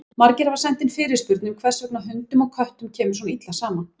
Margir hafa sent inn fyrirspurn um hvers vegna hundum og köttum kemur svona illa saman.